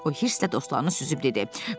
O hissə dostlarını süzüb dedi.